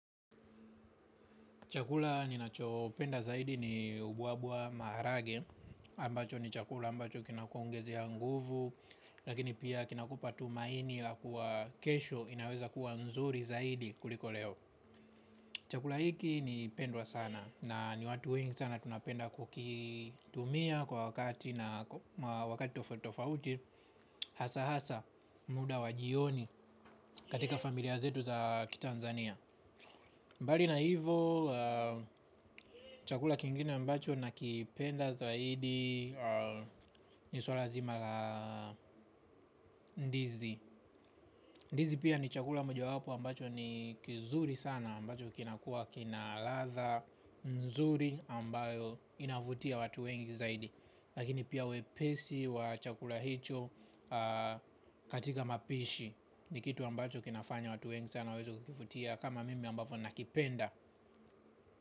Chakula ninachopenda zaidi ni ubuabua maharage ambacho ni chakula ambacho kinakuongezea nguvu. Lakini pia kinakupa tumaini la kuwa kesho inaweza kuwa nzuri zaidi kuliko leo. Chakula hiki ni pendwa sana. Na ni watu wengi sana tunapenda kukitumia kwa wakati na wakati tofauti hasa hasa muda wa jioni katika familia zetu za kitanzania. Mbali na hivo chakula kingine ambacho nakipenda zaidi ni swala zima la ndizi. Ndizi pia ni chakula moja wapo ambacho ni kizuri sana ambacho kinakua kina latha nzuri ambayo inavutia watu wengi zaidi. Lakini pia uwepesi wa chakula hicho katika mapishi ni kitu ambacho kinafanya watu wengi sana waweze kivutia kama mimi ambacho nakipenda.